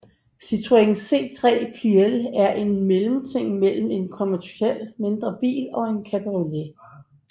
Citroën C3 Pluriel er en mellemting mellem en konventionel mindre bil og en cabriolet